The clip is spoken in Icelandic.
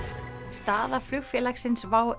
staða flugfélagsins WOW